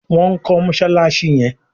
Wón kò Mossalassi yén.